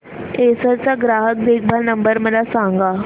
Acer चा ग्राहक देखभाल नंबर मला सांगा